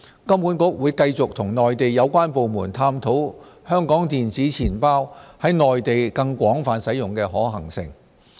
金管局會繼續與內地相關部門探討香港電子錢包在內地更廣泛使用的可行性。